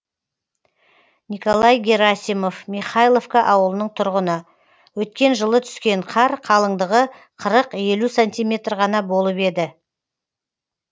николай герасимов михайловка ауылының тұрғыны өткен жылы түскен қар қалыңдығы қырық елу сантиметр ғана болып еді